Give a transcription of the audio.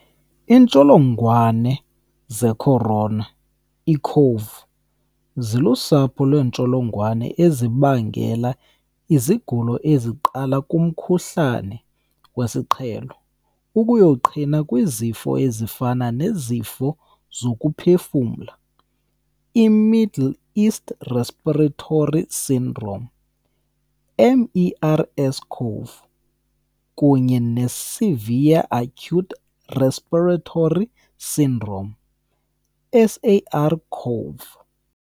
Iintsholongwane zeCorona, iiCoV, zilusapho lweentsholongwane ezibangela izigulo eziqala kumkhuhlane wesiqhelo ukuyoqhina kwizifo ezifana nezifo zokuphefumla iMiddle East Respiratory Syndrome, MERS-CoV, kunye neSevere Acute Respiratory Syndrome, SARS-CoV.